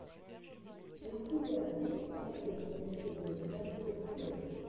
у тебя есть последняя серия якурус тим